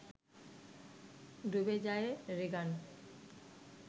ডুবে যায় রিগান